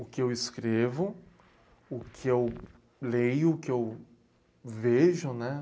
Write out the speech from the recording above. o que eu escrevo, o que eu leio, o que eu vejo, né?